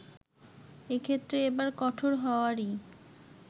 এক্ষেত্রে এবার কঠোর হওয়ারই